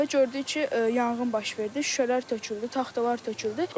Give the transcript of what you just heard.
Gördük ki, yanğın baş verdi, şüşələr töküldü, taxtalar töküldü.